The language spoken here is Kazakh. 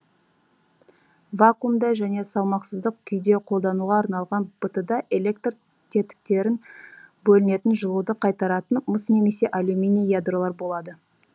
вакуумда және салмақсыздық күйде қолдануға арналған бт да электр тетіктерін бөлінетін жылуды қайтаратын мыс немесе алюминий ядролар болады